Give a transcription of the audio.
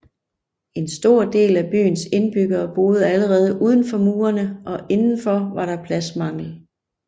En stor del af byens indbyggere boede allerede udenfor murene og indenfor var der pladsmangel